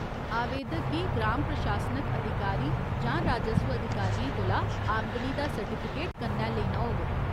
आवेदक गी ग्राम प्रशासनिक अधिकारी जां राजस्व अधिकारियें कोला आमदनी दा सर्टिफिकेट कन्नै लेना होग।